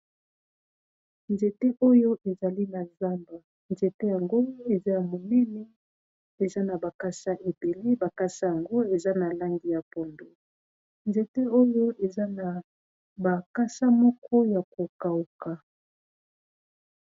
Nzete oyo ezali na zamba, nzete yango eza ya monene eza na bakasa ebele, bakasa yango eza na langi ya pondu, nzete oyo eza na bakasa moko ya ko kawuka.